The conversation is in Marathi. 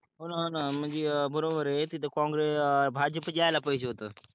हो ना हो ना हा म्हणजे बरोबर आहे अं तिथे काँग्रे आ भाजपचं यायला पाहिजे होत.